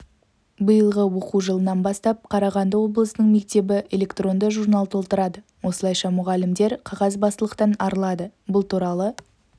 биылғы оқу жылынан бастап қарағанды облысының мектебі электронды журнал толтырады осылайша мұғалімдер қағазбастылықтан арылады бұл туралы